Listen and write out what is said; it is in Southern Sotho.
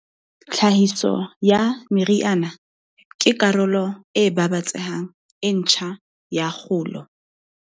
Tlhahiso ya meriana ke karolo e babatsehang e ntjha ya kgolo.